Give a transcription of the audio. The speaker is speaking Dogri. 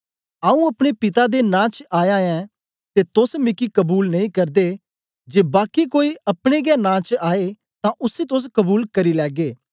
आऊँ अपने पिता दे नां च आया ऐं ते तोस मिकी कबूल नेई करदे जे बाकी कोई अपने गै नां च आए तां उसी तोस कबूल करी लैगे